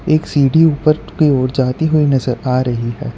एक सीढ़ी ऊपर की ओर जाती हुई नजर आ रही है।